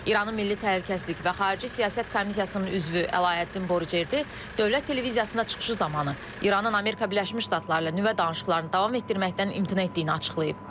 İranın Milli Təhlükəsizlik və Xarici Siyasət Komissiyasının üzvü Əlayəddin Borucerdı dövlət televiziyasında çıxışı zamanı İranın Amerika Birləşmiş Ştatları ilə nüvə danışıqlarını davam etdirməkdən imtina etdiyini açıqlayıb.